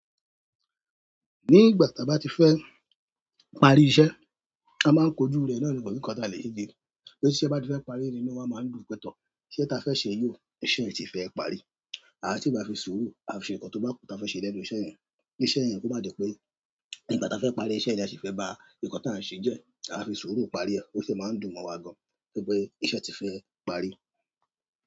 Nígbà ta bá ti fẹ́ parí iṣẹ́, a máa ń kojú rẹ̀ nani ko si nkan ta lè ṣe torí tí iṣẹ́ bá ti fẹ́ parí, ni inú wa máa ń dùn pẹ tọ̀. Iṣẹ́ ta fẹ́ ṣe yìí ò, iṣẹ́ yi ti fẹ́ parí. Aa si maa fi suuru, aa fi se nkan to ba ku taa fe se lẹ́nu iṣẹ́ yen kí iṣẹ́ yẹn kó má jẹ́ pé ígbà taa fẹ́ parí iṣẹ́ yẹn, la se fẹ́ ba ǹkan tí a ń ṣe jẹ́. A fi sùúrù parí ẹ. Ó sì máa ń dùn mọ́ wa gan-an. Torí pe iṣẹ́ ti fe parí.